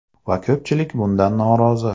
Va ko‘pchilik bundan norozi.